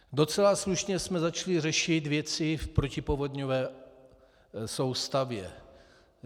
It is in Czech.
Docela slušně jsme začali řešit věci v protipovodňové soustavě.